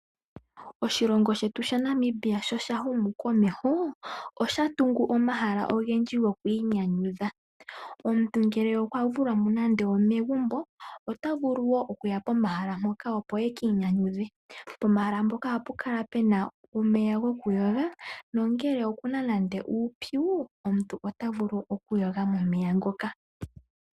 Oshilongo shetu sha Namibia sho sha humu komesho, osha tungu omahala ogendji gokwiinyanyudha. Omuntu nge okwa vulwamo nande omegumbo ota vulu woo okuya pomahala mpoka opo a kiinyanyudhe. Pomahala mpoka ohapu kala pena omeya goku yoga nongele okuna nande uupyu, omuntu ota vulu oku yoga momeya ngoka.